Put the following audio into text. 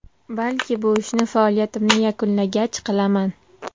Balki bu ishni faoliyatimni yakunlagach qilaman.